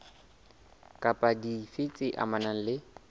kapa dife tse amanang le